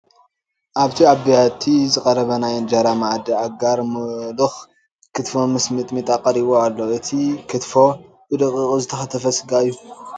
ኣብቲ ኣብ ቢያቲ ዝቐረበ ናይ እንጀራ መኣዲ ኣጋር ሙሉክ ክትፎ ምስ ሚጥሚጣ ቀሪቡ ኣሎ፡፡ እቲ ክትፎ ብደቂቁ ዝተከተፈ ስጋ እዩ፡፡